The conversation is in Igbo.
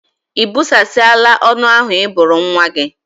Ị bụsasiala ọnụ ahụ Ị bụrụ nwa gị?